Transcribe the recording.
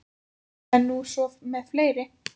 Það er nú svo með fleiri.